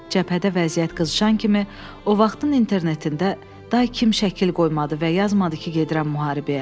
Cəbhədə vəziyyət qızışan kimi o vaxtın internetində daha kim şəkil qoymadı və yazmadı ki, gedirəm müharibəyə.